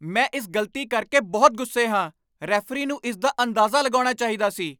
ਮੈਂ ਇਸ ਗ਼ਲਤੀ ਕਰਕੇ ਬਹੁਤ ਗੁੱਸੇ ਹਾਂ! ਰੈਫਰੀ ਨੂੰ ਇਸ ਦਾ ਅੰਦਾਜ਼ਾ ਲਗਾਉਣਾ ਚਾਹੀਦਾ ਸੀ।